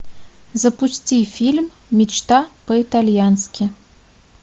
запусти фильм мечта по итальянски